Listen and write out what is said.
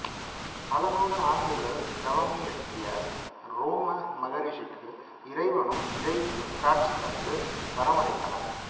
பலநூறு ஆண்டுகள் தவமியற்றிய ரோம மகரிஷிக்கு இறைவனும் இறைவியும் காட்சி தந்து வரமளித்தனர்